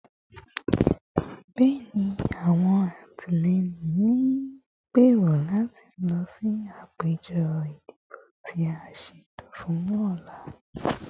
Bẹẹni, awọn alatilẹyin n gbero lati lọ si apejọ idibo ti a ṣeto fun ọla